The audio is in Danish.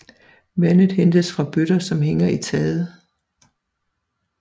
Vandet hentes fra bøtter som hænger i taget